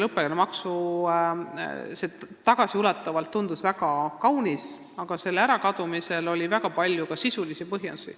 Tagasiulatuvalt tundub see väga kaunis, aga õppemaksu ärakadumisel oli ka väga palju sisulisi põhjusi.